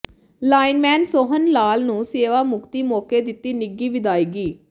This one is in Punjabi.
ਲਾਈਨਮੈਨ ਸੋਹਨ ਲਾਲ ਨੂੰ ਸੇਵਾ ਮੁਕਤੀ ਮੌਕੇ ਦਿੱਤੀ ਨਿੱਘੀ ਵਿਦਾਇਗੀ